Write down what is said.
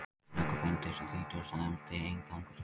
Jakob Benediktsson þýddi og samdi inngang og skýringar.